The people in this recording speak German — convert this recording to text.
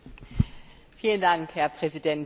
Herr Präsident, Herr Kommissar!